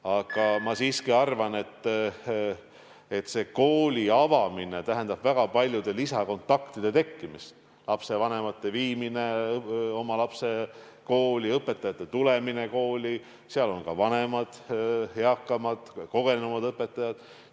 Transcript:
Aga ma arvan siiski, et koolide avamine tähendab väga paljude lisakontaktide tekkimist – lapsevanemad viivad oma lapsi kooli, õpetajad tulevad kooli, seal on ka vanemad ja eakamad, kogenenumad õpetajad.